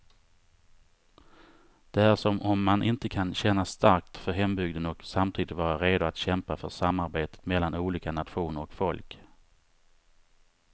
Det är som om man inte kan känna starkt för hembygden och samtidigt vara redo att kämpa för samarbete mellan olika nationer och folk.